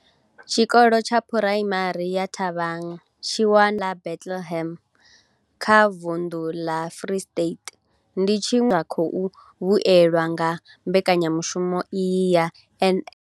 Tshikolo tsha Phuraimari ya Thabang tshi wanalaho fhaḽa Bethlehem kha vunḓu ḽa Free State ndi tshiṅwe tsha zwikolo zwine zwa khou vhuelwa nga mbekanyamushumo iyi ya NSNP.